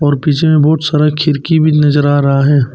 पीछे में बहुत सारा खिड़की भी नजर आ रहा है।